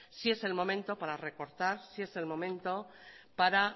sí es el momento para recortar sí es el momento para